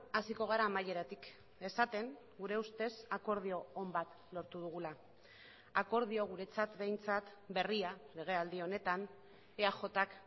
hasiko gara amaieratik esaten gure ustez akordio on bat lortu dugula akordio guretzat behintzat berria legealdi honetan eajk